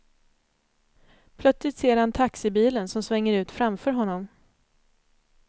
Plötsligt ser han taxibilen som svänger ut framför honom.